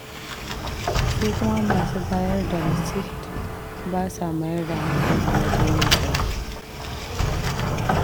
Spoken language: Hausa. Su kuma masu bayar da rasit ba sa mayar da hankali wajen yin aikin.